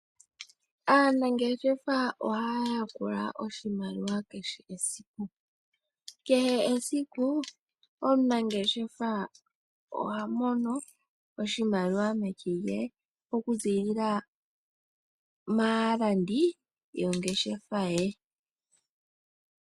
Aanangeshefa ohaa yakula oshimaliwa kehe esiku. Kehecesiku omunangeshefa oha mono oshimaliwa meke lye okuziilila maalandi yomongeshefa ye.